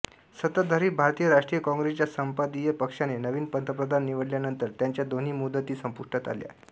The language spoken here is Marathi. सत्ताधारी भारतीय राष्ट्रीय काँग्रेसच्या संसदीय पक्षाने नवीन पंतप्रधान निवडल्यानंतर त्यांच्या दोन्ही मुदती संपुष्टात आल्या